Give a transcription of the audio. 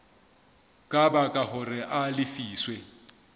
ka baka hore a lefiswe